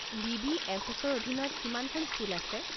বি.বি.এফ.এছ.ৰ অধীনত কিমানখন স্কুল আছে?